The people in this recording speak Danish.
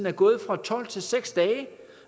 er gået fra tolv til seks dage